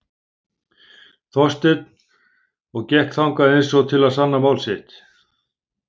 Þorsteinn og gekk þangað eins og til að sanna mál sitt.